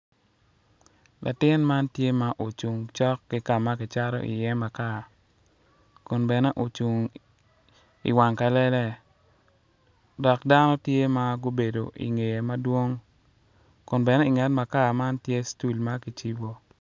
Latin man tye ocung ki kama kicato iye makar kun bene ocung i wang kalele dok dano gitye ma obedo ingye madwong kun bene i nget makar man tye stol ma kicibo.